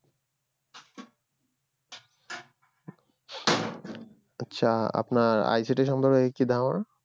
আচ্ছা আপনার ICT সম্পর্কে কী ধারনা